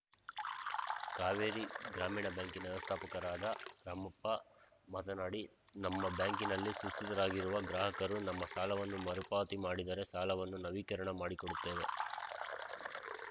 ಕಾವೇರಿ ಗ್ರಾಮೀಣ ಬ್ಯಾಂಕಿನ ವ್ಯವಸ್ಥಾಪಕ ರಾಮಪ್ಪ ಮಾತನಾಡಿ ನಮ್ಮ ಬ್ಯಾಂಕಿನಲ್ಲಿ ಸುಸ್ತಿದಾರರಾಗಿರುವ ಗ್ರಾಹಕರು ತಮ್ಮ ಸಾಲವನ್ನು ಮರು ಪಾವತಿ ಮಾಡಿದರೆ ಸಾಲವನ್ನು ನವೀಕರಣ ಮಾಡಿಕೊಡುತ್ತೇವೆ